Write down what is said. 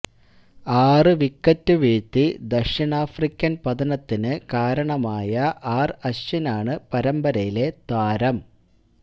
ആറ് വിക്കറ്റ് വീഴത്തി ദക്ഷിണാഫ്രിക്കന് പതനത്തിന് കാരണമായ ആര് അഴ്വിനാണ് പരമ്പരയിലെ താരം